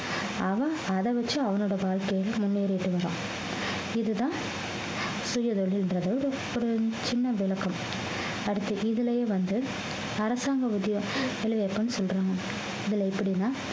அவன் அதை வச்சு அவனோட வாழ்க்கையில முன்னேறிட்டு வர்றான் இதுதான் சுயதொழில்ன்றது ஒரு சின்ன விளக்கம் அடுத்து இதிலேயே வந்து அரசாங்க ஊதிய வேலைவாய்ப்புன்னு சொல்றாங்க இதுல எப்படின்னா